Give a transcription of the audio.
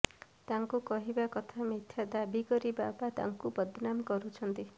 ତାଙ୍କ କହିବା କଥା ମିଥ୍ୟା ଦାବି କରି ବାବା ତାଙ୍କୁ ବଦନାମ କରୁଛନ୍ତି